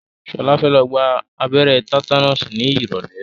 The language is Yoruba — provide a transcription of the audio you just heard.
Ṣọlá fẹ́ lọ gba abẹ́rẹ́ tátánọ́ọ̀sì ní ìrọ̀lẹ́.